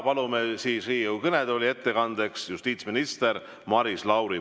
Palume Riigikogu kõnetooli ettekandeks justiitsminister Maris Lauri.